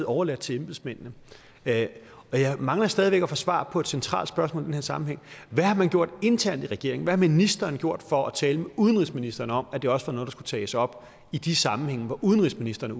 overladt til embedsmændene jeg mangler stadig væk at få svar på et centralt spørgsmål i den her sammenhæng hvad har man gjort internt i regeringen hvad har ministeren gjort for at tale med udenrigsministeren om at det også var noget der skulle tages op i de sammenhænge hvor udenrigsministeren